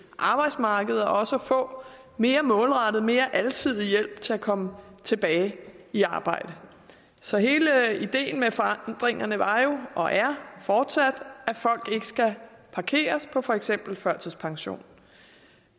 arbejdsmarkedet og også få mere målrettet mere alsidig hjælp til at komme tilbage i arbejde så hele ideen med forandringerne var jo og er fortsat at folk ikke skal parkeres på for eksempel førtidspension